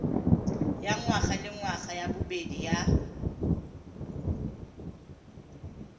ya ngwagalengwaga ya bobedi ya